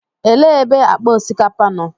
Elee ebe akpa osikapa nọ?